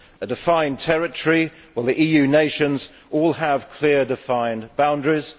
a defined territory the EU nations all have clear, defined boundaries